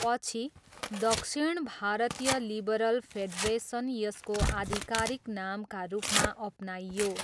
पछि, दक्षिण भारतीय लिबरल फेडरेसन यसको आधिकारिक नामका रूपमा अपनाइयो।